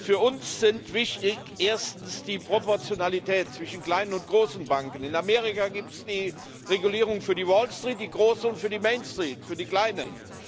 Für uns sind wichtig erstens die Proportionalität zwischen kleinen und großen Banken. In Amerika gibt es die Regulierung für die Wallstreet die großen und für die Mainstreet für die kleinen.